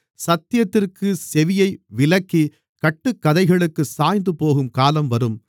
சத்தியத்திற்குச் செவியை விலக்கி கட்டுக்கதைகளுக்குச் சாய்ந்துபோகும் காலம் வரும்